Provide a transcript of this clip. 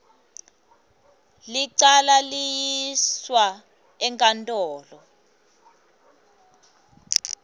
licala liyiswa enkantolo